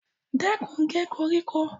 Stop cutting the grass